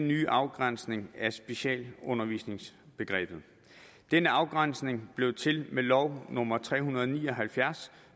nye afgrænsning af specialundervisningsbegrebet denne afgrænsning blev til med lov nummer tre hundrede og ni og halvfjerds